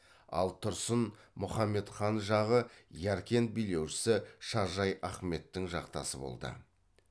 ал тұрсын мұхаммед хан жағы яркент билеушісі шажай ахметтің жақтасы болды